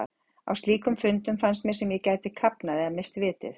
Á slíkum stundum fannst mér sem ég gæti kafnað eða misst vitið.